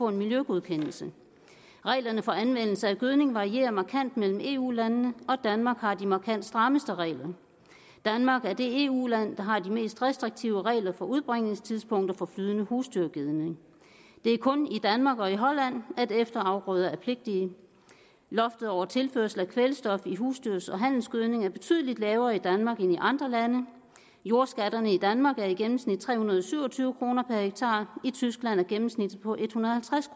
en miljøgodkendelse reglerne for anvendelse af gødning varierer markant mellem eu landene og danmark har de markant strammeste regler danmark er det eu land der har de mest restriktive regler for udbringningstidspunkter for flydende husdyrgødning det er kun i danmark og i holland at efterafgrøder er pligtige loftet over tilførsel af kvælstof i husdyrs og handelsgødning er betydelig lavere i danmark end i andre lande jordskatterne i danmark er i gennemsnit tre hundrede og syv og tyve kroner per hektar i tyskland er gennemsnittet på en hundrede